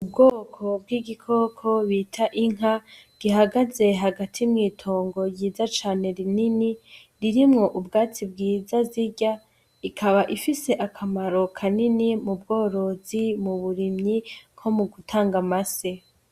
Ubwoko bw'igikoko bita inka gihagaze hagati mw'itongo ryiza cane rinini ririmwo ubwatsi bwiza zirya, ikaba ifise akamaro kanini mu bworozi, mu burimyi nko mu gutanga amase.